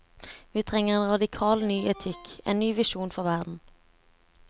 Vi trenger en radikal ny etikk, en ny visjon for verden.